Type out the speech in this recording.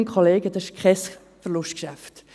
Kolleginnen und Kollegen, dies ist Verlustgeschäft.